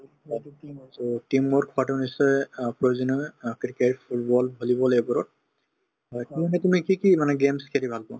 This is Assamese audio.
so, team work কৰাতো নিশ্চয় অ প্ৰয়োজনীয় হয় অ cricket, football, volleyball এইবোৰত হয় তুমি কি কি মানে games খেলি ভাল পোৱা